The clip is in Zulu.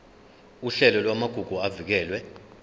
uhlelo lwamagugu avikelwe